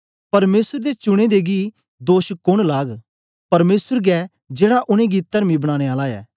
परमेसर दे चुने दें गी दोष कोन लाग परमेसर गै जेड़ा उनेंगी तरमी बनाने आला ऐ